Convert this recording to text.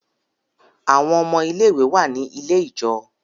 Àwon ọmọ ilé ìwé wá ní ilẹ̀ ijọ.